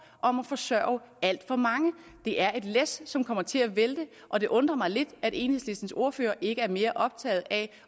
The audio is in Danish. om at forsørge alt for mange det er et læs som kommer til at vælte og det undrer mig lidt at enhedslistens ordfører ikke er mere optaget af